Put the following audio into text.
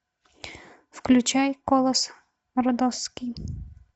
включай колосс родосский